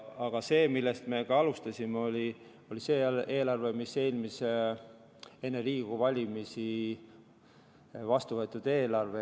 Aga see, millest me alustasime, oli enne Riigikogu valimisi vastuvõetud eelarve.